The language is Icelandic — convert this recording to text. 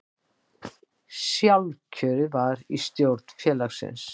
Sjálfkjörið var í stjórn félagsins